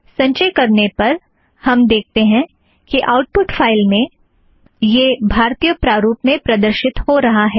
संचय करने पर हम देखते हैं कि आउटपुट फ़ाइल में यह भारतीय प्रारूप में प्रदर्शित हो रहा है